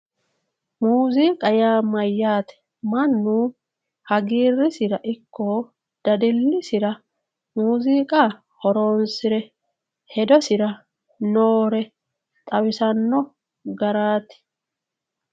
Muziiqa yaa mayyate, mannu hagiirisira ikko dadilisira muziiqa horonsire hedosira noore xawisano garati.